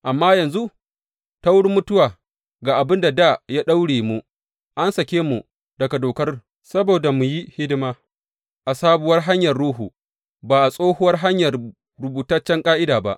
Amma yanzu, ta wurin mutuwa ga abin da dā ya daure mu, an sake mu daga dokar saboda mu yi hidima a sabuwar hanyar Ruhu, ba a tsohuwar hanyar rubutaccen ƙa’ida ba.